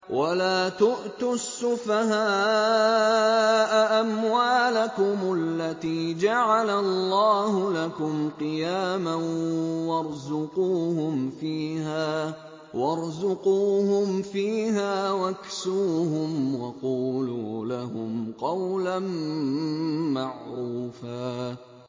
وَلَا تُؤْتُوا السُّفَهَاءَ أَمْوَالَكُمُ الَّتِي جَعَلَ اللَّهُ لَكُمْ قِيَامًا وَارْزُقُوهُمْ فِيهَا وَاكْسُوهُمْ وَقُولُوا لَهُمْ قَوْلًا مَّعْرُوفًا